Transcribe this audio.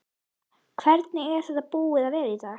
Hvernig er þetta búið að vera í dag?